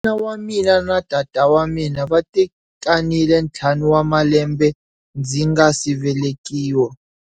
Mana wa mina na tatana va tekanile ntlhanu wa malembe ndzi nga si velekiwa.